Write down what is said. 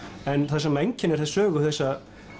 en það sem einkennir sögu þessa